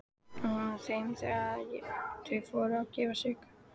Og hún þeim þegar þau fóru að gefa sig.